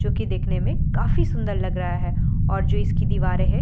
जो कि देखने में काफी सुंदर लग रहा है और जो इसकी दीवारें हैं --